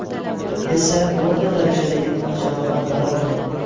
esa o‘rta darajadagi tan jarohatlari olgan.